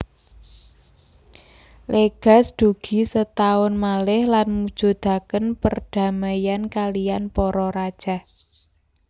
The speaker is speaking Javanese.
Legaz dugi setaun malih lan mujudaken perdamaian kaliyan para rajah